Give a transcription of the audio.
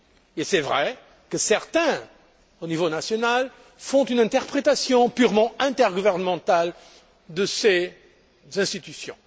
Et il est vrai que certains, au niveau national, font une interprétation purement intergouvernementale de ces institutions.